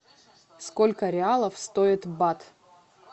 сколько реалов стоит бат